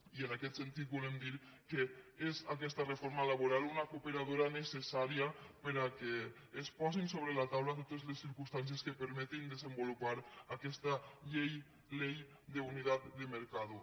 i en aquest sentit volem dir que és aquesta reforma laboral una cooperadora necessària perquè es posin sobre la taula totes les circumstàncies que permetin desenvolupar aquesta ley de unidad de mercado